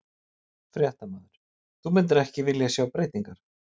Fréttamaður: Þú myndir ekki vilja sjá breytingar?